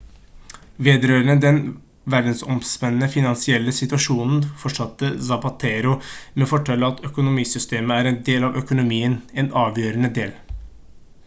vedrørende den verdensomspennende finansielle situasjonen fortsatte zapatero med å fortelle at «økonomisystemet er en del av økonomien en avgjørende del